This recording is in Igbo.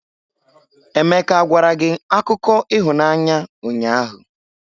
Emeka gwara gị akụkọ ịhụnanya ụnyahụ?